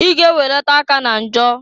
I ga -eweleta aka na njọ!